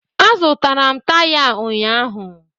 Azụtara m taya a ụnyaahụ